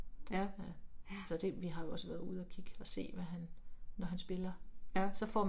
Ja, ja. Ja